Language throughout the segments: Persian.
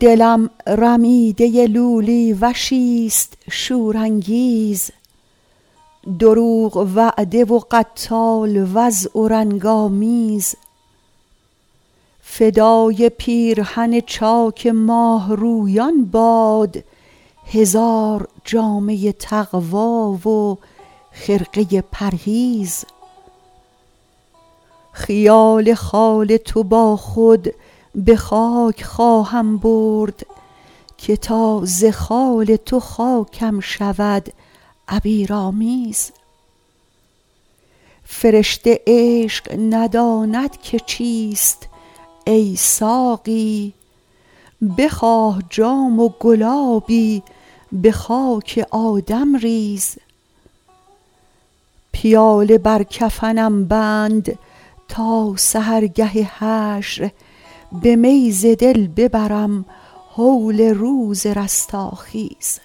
دلم رمیده لولی وشیست شورانگیز دروغ وعده و قتال وضع و رنگ آمیز فدای پیرهن چاک ماهرویان باد هزار جامه تقوی و خرقه پرهیز خیال خال تو با خود به خاک خواهم برد که تا ز خال تو خاکم شود عبیرآمیز فرشته عشق نداند که چیست ای ساقی بخواه جام و گلابی به خاک آدم ریز پیاله بر کفنم بند تا سحرگه حشر به می ز دل ببرم هول روز رستاخیز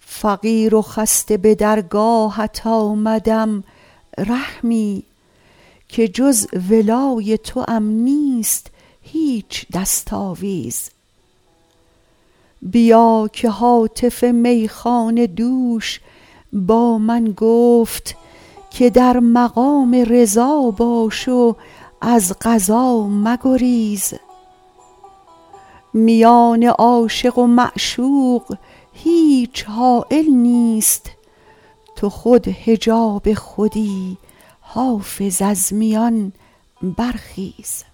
فقیر و خسته به درگاهت آمدم رحمی که جز ولای توام نیست هیچ دست آویز بیا که هاتف میخانه دوش با من گفت که در مقام رضا باش و از قضا مگریز میان عاشق و معشوق هیچ حایل نیست تو خود حجاب خودی حافظ از میان برخیز